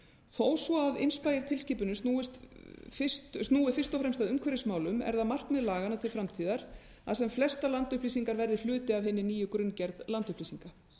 þó svo að inspire tilskipunin snúi fyrst og fremst að umhverfismálum er það markmið laganna til framtíðar að sem flestar landupplýsingar verði hluti af hinni nýju grunngerð landupplýsinga